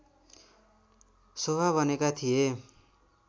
शोभा बनेका थिए